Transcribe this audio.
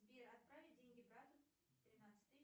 сбер отправить деньги брату тринадцать тысяч